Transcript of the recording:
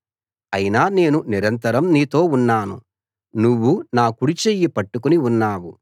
అయినా నేను నిరంతరం నీతో ఉన్నాను నువ్వు నా కుడిచెయ్యి పట్టుకుని ఉన్నావు